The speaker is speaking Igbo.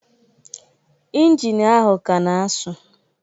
Injin ahụ a ka na-asu